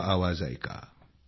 हा आवाज ऐका